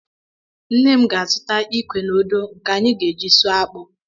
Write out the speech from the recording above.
Nne m ga-azụta ikwe na odo nke anyị ga-eji sụọ akpu.